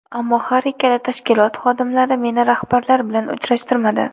Ammo har ikkala tashkilot xodimlari meni rahbarlar bilan uchrashtirmadi.